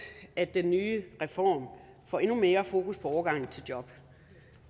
at den nye reform får endnu mere fokus på overgangen til job